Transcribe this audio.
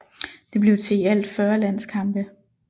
Det blev til i alt 40 landskampe